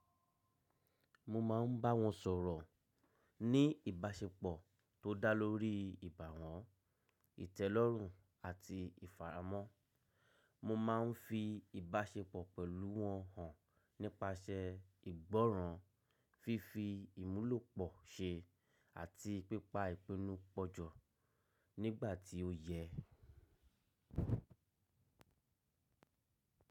Mo máa ń bá wọn sọ̀rọ̀ ní ìbáṣepọ̀ tó dá lórí ìbáwọn, ìtẹ́lọ́rùn àti ìfàràmọ́. Mo máa ń fi ìbáṣepọ̀ pẹ̀lú wọn hàn nípasẹ̀ ìgbọ́ràn, fífi ìmúlòpọ́ ṣe àti pípa ìpinnu pọ̀jọ̀ nígbà tí ó yẹ.